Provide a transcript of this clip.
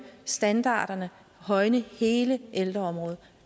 standarderne højne hele ældreområdet